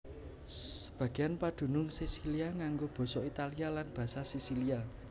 Sebagéan padunung Sisilia nganggo basa Italia lan basa Sisilia